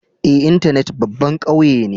Eh, intenet babban kauye ne.